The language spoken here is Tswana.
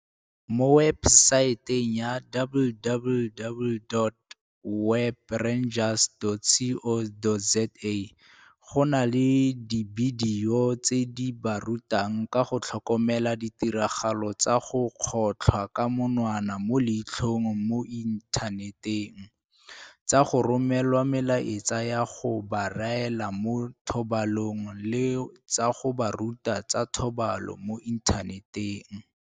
Mo webesaeteng ya www.webrangers.co.za go na le dibidio tse di ba rutang ka go tlhokomela ditiragalo tsa go kgotlhwa ka monwana mo leitlhong mo inthaneteng, tsa go romelwa melaetsa ya go ba raela mo thobalanong le tsa go ba ruta tsa thobalano mo inthaneteng.